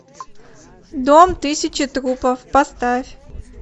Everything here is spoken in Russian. дом тысячи трупов поставь